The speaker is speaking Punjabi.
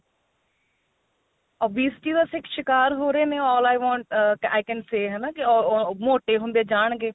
obesity ਦਾ ਸਿਕਾਰ ਹੋ ਰਹੇ ਨੇ all i want ah i can say ਹਨਾ ਮੋਟੇ ਹੁੰਦੇ ਜਾਣਗੇ